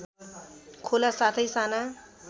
खोला साथै साना